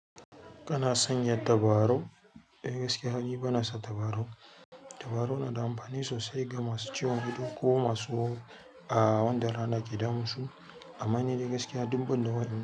Kana sanya tabarau? Ehh gaskiya, ni bana sa tabarau. Tabarau na da amfani sosai, ga masu ciwon ido, ko masu wahala wanda rana ke damun su. Amma ni dai gaskiya, duk ban da waɗannan.